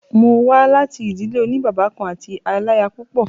Mo wà láti ìdílé òní bàbá kan àti aláyapúpọ̀.